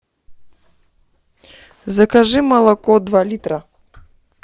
закажи молоко два литра